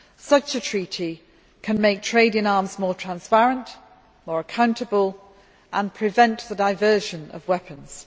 Such a treaty can make trade in arms more transparent, or accountable, and prevent the diversion of weapons.